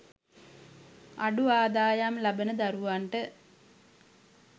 අඩු ආදායම් ලබන දරුවන්ට